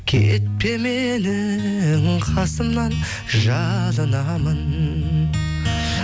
кетпе менің қасымнан жалынамын